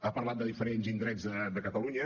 ha parlat de diferents indrets de catalunya